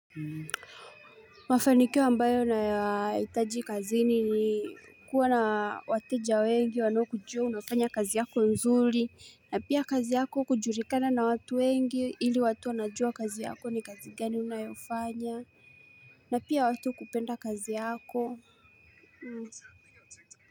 Mafanikio ambayo na yahitaji kazi ni ni kuwa na wateja wengi wanaokujua unafanya kazi yako nzuri na pia kazi yako kujulikana na watu wengi ili watu wanajua kazi yako ni kazi gani unayofanya na pia watu kupenda kazi yako.